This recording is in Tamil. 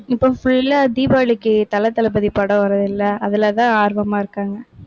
இப்போ full ஆ தீபாவளிக்கு தல, தளபதி படம் வரும் இல்லை? அதிலதான் ஆர்வமா இருக்காங்க.